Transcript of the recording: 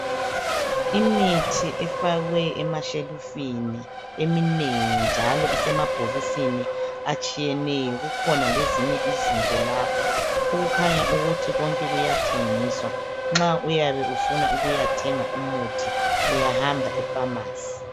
Emithi efakwe emashelufini eminengi njalo asemabhokisini atshiyeneyo kukhona le, inye izinto lapha kukhanya ukuthi konke kuyathensiswa. Nxa ufuna umuthi uyahamba efamasi.